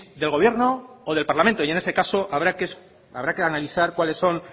del gobierno o del parlamento y en este caso habrá que analizar cuáles son